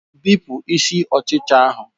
Bipụ isi ọchịcha ahụ